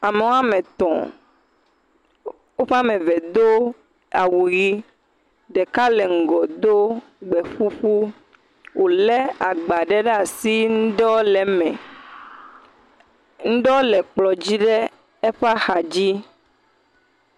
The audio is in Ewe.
Ame woame tɔ̃. Woƒe ame ve do awu ʋi. Ɖeka le ŋgɔ do gbeƒuƒu. wòlé agba ɖe ɖa si, ŋɖewo le eme. Ŋɖewo le kplɔ̃dzi le eƒe axadzi.